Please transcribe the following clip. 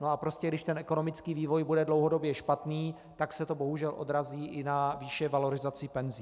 No a prostě když ten ekonomický vývoj bude dlouhodobě špatný, tak se to bohužel odrazí i na výši valorizace penzí.